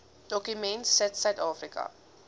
dokument sit suidafrika